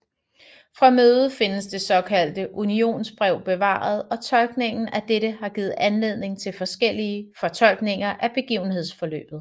Fra mødet findes det såkaldte unionsbrev bevaret og tolkningen af dette har givet anledning til forskellige fortolkninger af begivenhedsforløbet